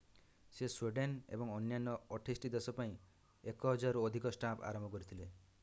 ସେ ସ୍ଵିଡେନ ଏବଂ ଅନ୍ୟାନ୍ୟ 28 ଟି ଦେଶ ପାଇଁ 1,000 ରୁ ଅଧିକ ଷ୍ଟାମ୍ପ ଆରମ୍ଭ କରିଥିଲେ